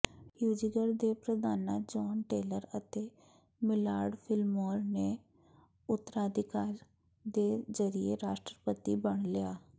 ਹਿਊਜੀਗਰ ਦੇ ਪ੍ਰਧਾਨਾਂ John Tyler ਅਤੇ ਮਿਲਾਰਡ ਫਿਲਮੋਰ ਨੇ ਉਤਰਾਧਿਕਾਰ ਦੇ ਜ਼ਰੀਏ ਰਾਸ਼ਟਰਪਤੀ ਬਣ ਲਿਆ